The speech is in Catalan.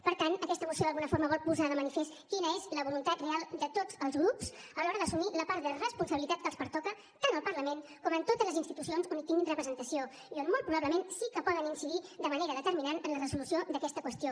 per tant aquesta moció d’alguna forma vol posar de manifest quina és la voluntat real de tots els grups a l’hora d’assumir la part de responsabilitat que els pertoca tant al parlament com a totes les institucions on tinguin representació i on molt probablement sí que poden incidir de manera determinant en la resolució d’aquesta qüestió